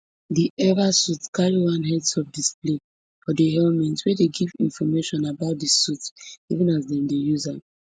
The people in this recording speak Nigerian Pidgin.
di eva suit carry one headsup display for di helmet wey dey give information about di suit even as dem dey use am